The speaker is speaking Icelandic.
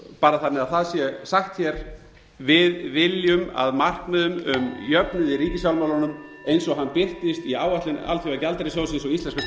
bara þannig að það sé sagt hér við viljum að markmiðum um jöfnuð í ríkisfjármálunum eins og hann birtist í áætlun alþjóðagjaldeyrissjóðsins og íslenskra stjórnvalda verði náð